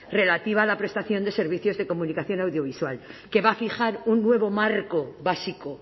relativa a la prestación de servicios de comunicación audiovisual que va a fijar un nuevo marco básico